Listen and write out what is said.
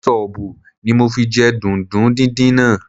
Kẹ́ṣọbù ni mo fi jẹ dùndún díndín náà